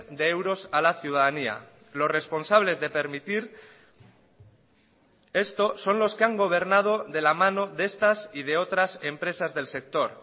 de euros a la ciudadanía los responsables de permitir esto son los que han gobernado de la mano de estas y de otras empresas del sector